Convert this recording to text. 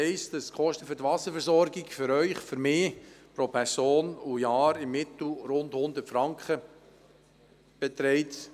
Die Kosten für die Wasserversorgung belaufen sich für Sie und für mich pro Person und Jahr durchschnittlich auf etwa 100 Franken.